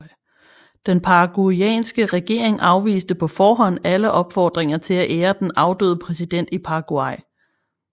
Den paraguyanske regering afviste på forhånd alle opfordringer til at ære den afdøde præsident i Paraguay